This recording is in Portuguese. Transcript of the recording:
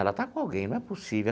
Ela está com alguém, não é possível.